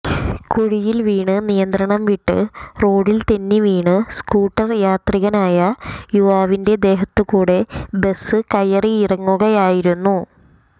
കുഴിയിൽ വീണ് നിയന്ത്രണം വിട്ട് റോഡിൽ തെന്നിവീണ് സ്കൂട്ടർ യാത്രികനായ യുവാവിന്റെ ദേഹത്തുകൂടെ ബസ് കയറിയിറങ്ങുകയായിരുന്നു